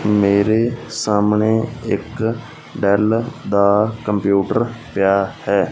ਮੇਰੇ ਸਾਹਮਣੇ ਇੱਕ ਡੈੱਲ ਦਾ ਕੰਪਿਊਟਰ ਪਿਆ ਹੈ।